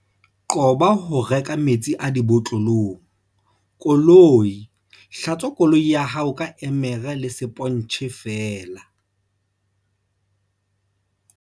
Qoba ho reka metsi a dibotlolong. Koloi Hlatswa koloi ya hao ka emere le sepontjhe feela.